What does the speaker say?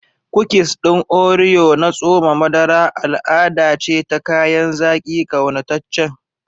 Kukis ɗin Oreo na tsoma madara al'ada ce ta kayan zaki ƙaunataccen.